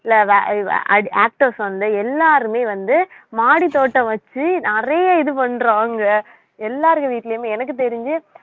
இல்ல வ~ அ~ வ~ actors வந்து எல்லாருமே வந்து மாடித்தோட்டம் வச்சு நிறைய இது பண்றாங்க எல்லார் வீட்டிலேயுமே எனக்கு தெரிஞ்சு